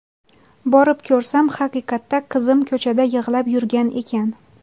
Borib ko‘rsam, haqiqatda qizim ko‘chada yig‘lab yurgan ekan.